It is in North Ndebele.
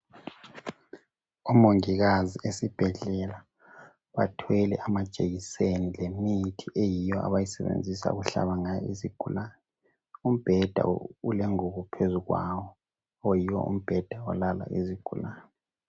Umongikazi esibhedlela bathwele amajekiseni lemithi eyiyo abayisebenzisa ukuhlaba ngayo izigulane, umbheda ulengubo phezu kwawo oyiwo umbheda olala izigulane.